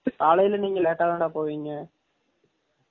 காலைல நீங்க லேடா தான டா போவிங்க